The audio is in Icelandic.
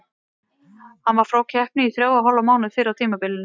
Hann var frá keppni í þrjá og hálfan mánuð fyrr á tímabilinu.